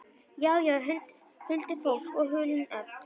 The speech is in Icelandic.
Já, já, huldufólk og hulin öfl.